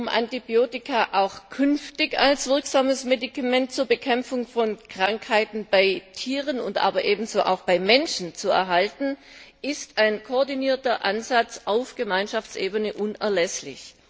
Um Antibiotika auch künftig als wirksame Medikamente zur Bekämpfung von Krankheiten bei Tieren, aber ebenso auch bei Menschen zu erhalten, ist ein koordinierter Ansatz auf Gemeinschaftsebene unerlässlich.